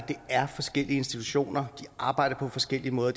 det er forskellige institutioner som arbejder på forskellige måder og